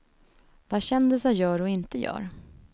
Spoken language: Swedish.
Vad kändisar gör och inte gör.